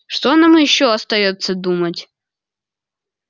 что нам ещё остаётся думать